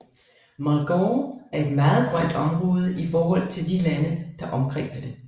Mulgore er et meget grønt område i forhold til de lande der omkredser det